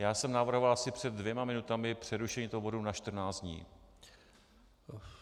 Já jsem navrhoval asi před dvěma minutami přerušení tohoto bodu na 14 dní.